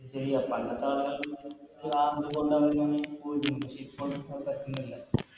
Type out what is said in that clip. അത് ശരിയാ പണ്ടത്തെ ആള് പഷേ ഇപ്പോൾ അത് പറ്റുന്നില്ല